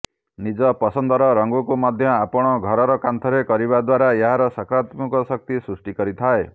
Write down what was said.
ନିଜ ପସନ୍ଦର ରଙ୍ଗକୁ ମଧ୍ୟ ଆପଣ ଘରର କାନ୍ଥରେ କରିବା ଦ୍ୱାରା ଏହାର ସକରାତ୍ମକ ଶକ୍ତି ସୃଷ୍ଟି କରିଥାଏ